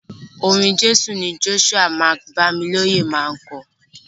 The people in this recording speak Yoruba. Orin Jésù ni Joshua Mike-Bamiloye máa ń kọ.